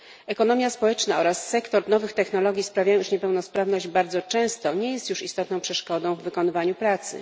Ekonomia społeczna oraz sektor nowych technologii sprawiają, iż niepełnosprawność bardzo często nie jest już istotną przeszkodą w wykonywaniu pracy.